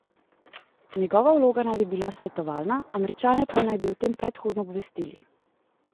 Njegova vloga naj bi bila svetovalna, Američane pa naj bi o tem predhodno obvestili.